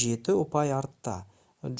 жеті ұпай артта